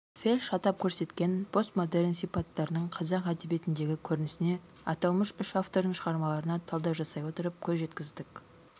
вельш атап көрсеткен постмодерн сипаттарының қазақ әдебиетіндегі көрінісіне аталмыш үш автордың шығармаларына талдау жасай отырып көз жеткіздік